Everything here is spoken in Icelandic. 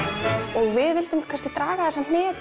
og við vildum kannski draga þessa hnetu